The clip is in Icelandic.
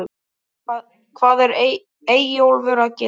HVAÐ ER EYJÓLFUR AÐ GERA????